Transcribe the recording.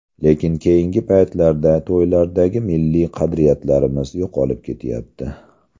Lekin keyingi paytlarda to‘ylardagi milliy qadriyatlarimiz yo‘qolib ketyapti.